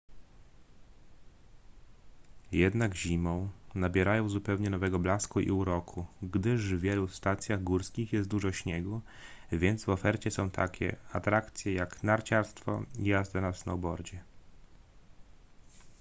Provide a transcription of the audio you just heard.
jednak zimą nabierają zupełnie nowego blasku i uroku gdyż w wielu stacjach górskich jest dużo śniegu więc w ofercie są takie atrakcje jak narciarstwo i jazda na snowboardzie